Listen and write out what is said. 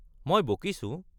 মই বকিছো?